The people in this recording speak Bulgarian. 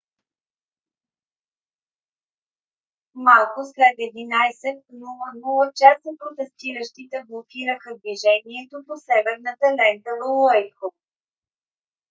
малко след 11:00 часа протестиращите блокираха движението по северната лента в уайтхол